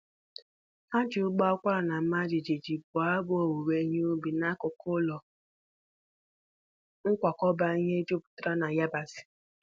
Ha ji ụbọ akwara na-ama jijiji bụọ abụ owuwe ihe ubi n'akụkụ ụlọ nkwakọba ihe jupụtara na yabasị.